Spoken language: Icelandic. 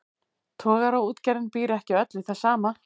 Togaraútgerðin býr ekki öll við það sama.